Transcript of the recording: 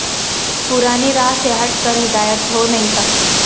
پرانی راہ سے ہٹ کر ہدایت ہو نہیں سکتی